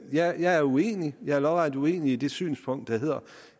jeg er uenig jeg er lodret uenig i det synspunkt